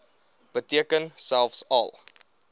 beteken selfs al